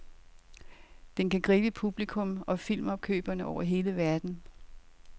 Den kan gribe publikum og filmopkøbere over hele verden.